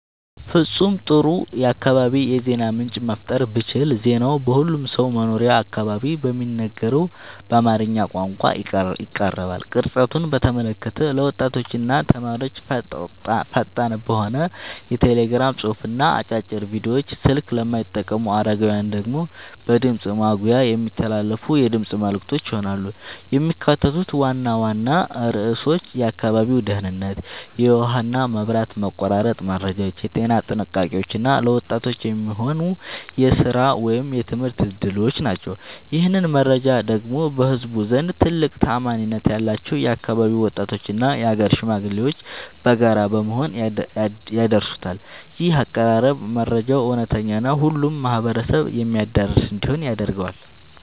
ፍጹም ጥሩ የአካባቢ የዜና ምንጭ መፍጠር ብችል ዜናው በሁሉም ሰው መኖሪያ አካባቢ በሚነገረው በአማርኛ ቋንቋ ይቀርባል። ቅርጸቱን በተመለከተ ለወጣቶችና ተማሪዎች ፈጣን በሆነ የቴሌግራም ጽሑፍና አጫጭር ቪዲዮዎች፣ ስልክ ለማይጠቀሙ አረጋውያን ደግሞ በድምፅ ማጉያ የሚተላለፉ የድምፅ መልዕክቶች ይሆናሉ። የሚካተቱት ዋና ዋና ርዕሶች የአካባቢው ደህንነት፣ የውሃና መብራት መቆራረጥ መረጃዎች፣ የጤና ጥንቃቄዎች እና ለወጣቶች የሚሆኑ የሥራ ወይም የትምህርት ዕድሎች ናቸው። ይህንን መረጃ ደግሞ በህዝቡ ዘንድ ትልቅ ተአማኒነት ያላቸው የአካባቢው ወጣቶችና የአገር ሽማግሌዎች በጋራ በመሆን ያደርሱታል። ይህ አቀራረብ መረጃው እውነተኛና ሁሉንም ማህበረሰብ የሚያዳርስ እንዲሆን ያደርገዋል።